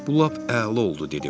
Bu lap əla oldu dedim.